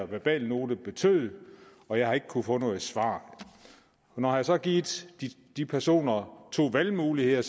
verbalnote betød og jeg har ikke kunnet få noget svar når jeg så har givet de personer to valgmuligheder